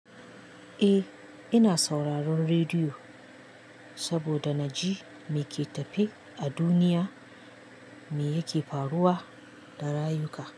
Eh, ina sauraron rediyo saboda na ji me ke tafe a duniya, me yake faruwa da rayuka.